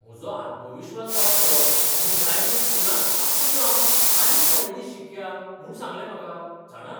म्हजो आत्मविस्वास वाडचो म्हूण ड्रायव्हिंग स्कुलान आपूण जावन आनीक थोडे दीस शिकया म्हूण सांगलें म्हाका, जाणा?